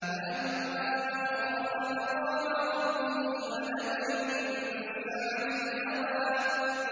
وَأَمَّا مَنْ خَافَ مَقَامَ رَبِّهِ وَنَهَى النَّفْسَ عَنِ الْهَوَىٰ